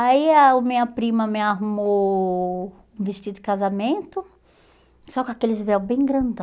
Aí a o minha prima me arrumou um vestido de casamento, só com aqueles véus bem grandão.